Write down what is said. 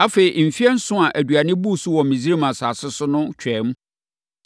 Afei, mfeɛ nson a aduane buu so wɔ Misraim asase so no twaam.